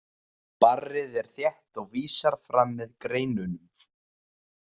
Barrið er þétt og vísar fram með greinunum.